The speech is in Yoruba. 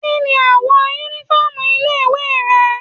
Kíni àwọ̀ uniform ilé ìwé rẹ̀?